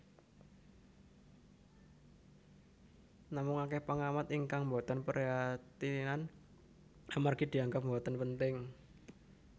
Namung akèh péngamat ingkang mbotén pérhatian amérgi dianggép mbotén pénting